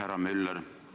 Härra Müller!